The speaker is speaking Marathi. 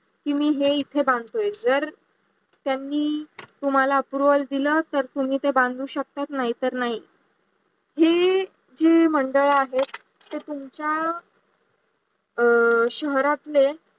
की मी इथे बांधतोय. जर त्यांनी तुम्हाला approval दिला तर तुम्ही ते बंधू शकता नाही तर नाही. हे जे मंडळ आहे ते तुमच्या शहरातले